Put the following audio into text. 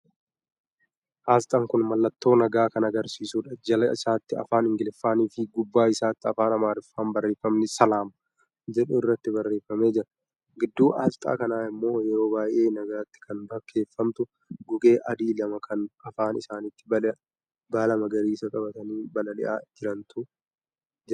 Asxaa kun mallattoo nagaa kan agarsiisudha. Jala isaatti Afaan Ingiliffaanifii gubbaa isaatti Afaan Amaariffaan barreeffamni "Salaam" jedhu irratti barreefamee jira. Gidduu asxaa kanaa immoo yeroo baay'ee nagaatti kan fakkeefamtu gugee a'adii lama kana afaan isaanitti baala magariisa qabatanii balali'aa jirantu jira.